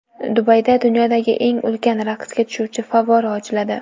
Dubayda dunyodagi eng ulkan raqsga tushuvchi favvora ochiladi.